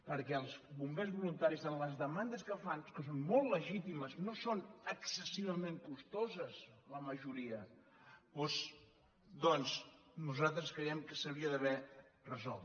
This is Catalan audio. perquè els bombers voluntaris en les demandes que fan que són molt legítimes no són excessivament costoses la majoria doncs nosaltres creiem que s’hauria d’haver resolt